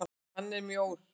Hann er mjór.